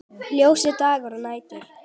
Ljósir dagar og nætur.